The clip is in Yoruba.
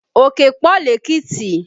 Òkè pọ lékìtì